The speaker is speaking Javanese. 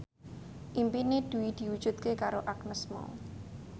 impine Dwi diwujudke karo Agnes Mo